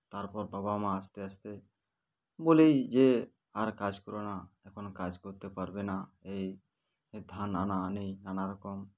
তারপর বাবা মা আস্তে আস্তে বলেই যে আর কাজ করো না এখন কাজ করতে পারবে না এই ধান আনা আনি নানারকম